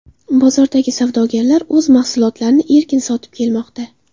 Bozordagi savdogarlar o‘z mahsulotlarini erkin sotib kelmoqda.